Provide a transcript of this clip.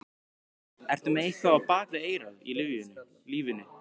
Ertu með eitthvað á bak við eyrað í lífinu?